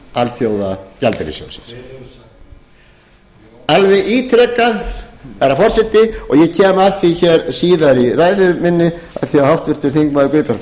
alþjóðagjaldeyrissjóðsins hver hefur sagt það alveg ítrekað herra forseti og ég kem að því síðar í ræðu minni af því að háttvirtir þingmenn guðbjartur